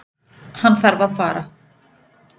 Hann þarf að fara.